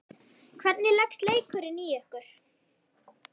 Hvernig leggst leikurinn í ykkur?